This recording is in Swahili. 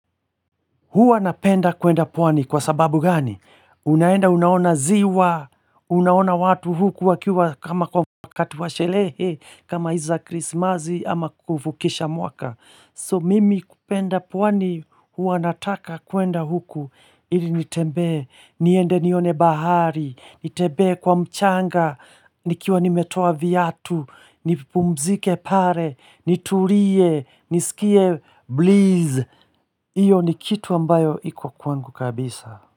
Huwa napenda kwenda pwani kwa sababu gani? Unaenda unaona ziwa, unaona watu huku wakiwa kama kwa wakati wa sherehe, kama hizi za krismasi ama kuvukisha mwaka. So mimi kupenda pwani huwa nataka kwenda huku, ili nitembee, niende nione bahari, nitembee kwa mchanga, nikiwa nimetoa viatu, nipumzike pale, nitulie, nisikie breeze Iyo ni kitu ambayo iko kwangu kabisa.